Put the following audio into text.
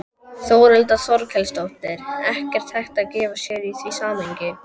Þórhildur Þorkelsdóttir: Ekkert hægt að gefa sér í því samhengi?